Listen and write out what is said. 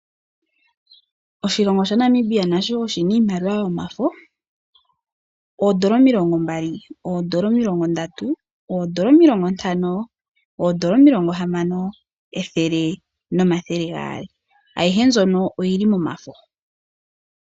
Oshilongo shaNamibia nasho oshina iimaliwa yomafo, ondoola omilongombali, ondoola omilongondatu, ondoola omilongontano, ondoola omilongohamano, ethele nomathele gaali. Ayihe mbyono oyili momafo.